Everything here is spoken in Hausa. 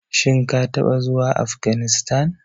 Shin ka taɓa zuwa Afganistan.